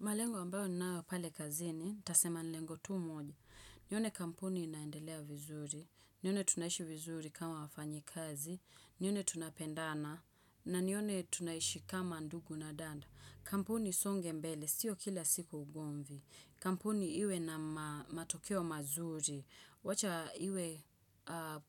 Malengo ambayo ninayo pale kazini, nitasema ni lengo tu moja. Nione kampuni inaendelea vizuri, nione tunaishi vizuri kama wafanyikazi, nione tunapendana, na nione tunaishi kama ndugu na danda. Kampuni isonge mbele, sio kila siku ugomvi. Kampuni iwe na matokeo mazuri, wacha iwe